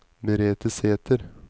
Merete Sæter